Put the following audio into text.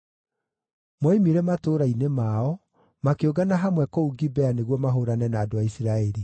Moimire matũũra-inĩ mao, makĩũngana hamwe kũu Gibea nĩguo mahũũrane na andũ a Isiraeli.